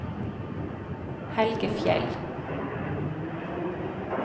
Helge Fjeld